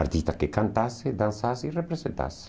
Artista que cantasse, dançasse e representasse.